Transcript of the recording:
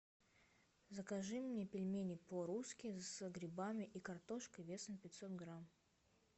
закажи мне пельмени по русски с грибами и картошкой весом пятьсот грамм